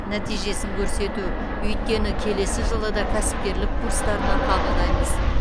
нәтижесін көрсету өйткені келесі жылы да кәсіпкерлік курстарына қабылдаймыз